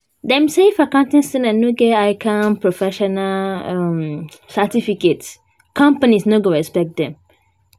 Dem say if accounting students no get ICAN professional um certificate, companies no go respect dem